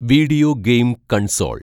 video game console‍